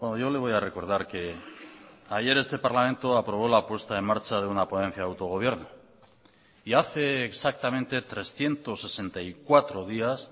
yo le voy a recordar que ayer este parlamento aprobó la puesta en marcha de una ponencia de autogobierno y hace exactamente trescientos sesenta y cuatro días